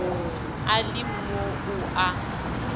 a le mo o a